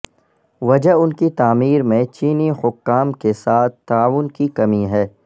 وجہ ان کی تعمیر میں چینی حکام کے ساتھ تعاون کی کمی ہے